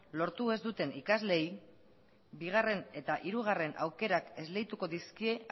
lortu ez duten ikasleei bigarren eta hirugarren aukerak esleituko dizkie